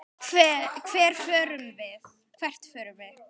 Hvert förum við?